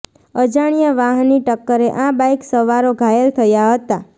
અજાણ્યા વાહની ટક્કરે આ બાઇક સવારો ઘાયલ થયા હતા